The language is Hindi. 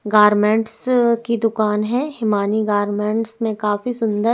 गारमेंट्स की दुकान है हिमानी गारमेंट्स में काफी सुन्दर --